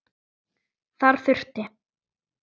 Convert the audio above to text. Þar þurfti